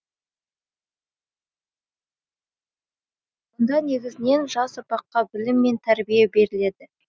мұнда негізінен жас ұрпаққа білім мен тәрбие беріледі